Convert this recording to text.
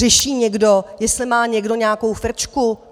Řeší někdo, jestli má někdo nějakou frčku?